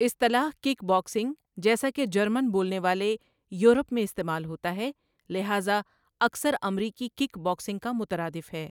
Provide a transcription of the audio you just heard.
اصطلاح 'kick boxing' جیسا کہ جرمن بولنے والے یورپ میں استعمال ہوتا ہے، لہذا، اکثر امریکی کک باکسنگ کا مترادف ہے۔